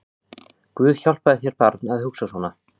Guð hjálpi þér barn að hugsa svona